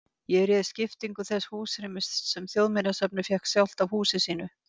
Ég réð skiptingu þess húsrýmis sem Þjóðminjasafnið fékk sjálft af húsi sínu.